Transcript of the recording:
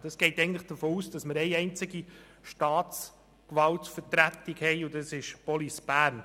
Es geht davon aus, dass wir eine einzige Vertretung der Staatsgewalt haben, und das ist die Police Bern.